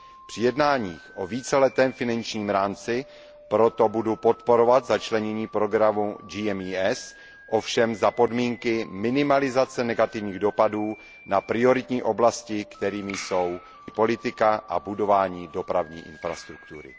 Při jednáních o víceletém finančním rámci proto budu podporovat začlenění programu GMES, ovšem za podmínky minimalizace negativních dopadů na prioritní oblasti, kterými jsou politika soudržnosti a budování dopravní infrastruktury.